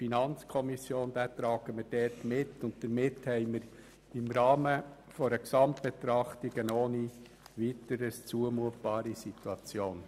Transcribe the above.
Damit haben wir im Rahmen einer Gesamtbetrachtung eine ohne Weiteres zumutbare Situation.